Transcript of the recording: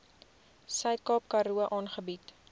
suidkaap karoo aangebied